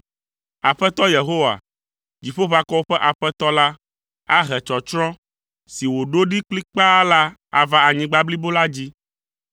Aƒetɔ Yehowa, Dziƒoʋakɔwo ƒe Aƒetɔ la ahe tsɔtsrɔ̃ si wòɖo ɖi kplikpaa la ava anyigba blibo la dzi.